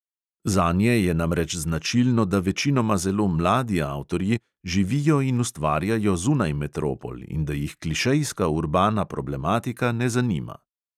Zanje je namreč značilno, da večinoma zelo mladi avtorji živijo in ustvarjajo zunaj metropol in da jih klišejska urbana problematika ne zanima.